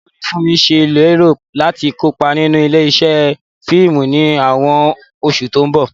Báwo ni Funmi ṣe lérò láti kópa nínú ilé-iṣẹ́ fíìmù ní àwọn oṣù tó ń bọ̀?